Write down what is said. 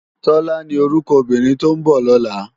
Tola ni órúkò óbìrín tó n bò lòlá